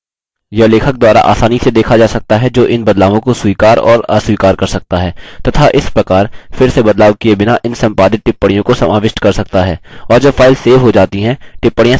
यह लेखक द्वारा आसानी से देखा जा सकता है जो इन बदलावों को स्वीकार और अस्वीकार कर सकता है तथा इस प्रकार फिर से बदलाव किये बिना इन संपादित टिप्पणियों को समाविष्ट कर सकता है